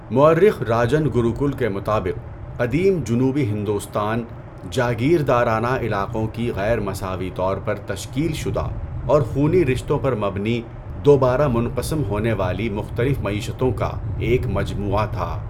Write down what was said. مؤرخ راجن گروکل کے مطابق، قدیم جنوبی ہندوستان 'جاگیردارانہ علاقوں کی غیر مساوی طور پر تشکیل شدہ اور خونی رشتوں پر مبنی دوبارہ منقسم ہونے والی مختلف معیشتوں' کا ایک مجموعہ تھا۔